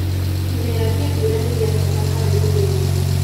Kĩmera kĩa mbũra nĩgĩabata harĩ ũrĩmĩ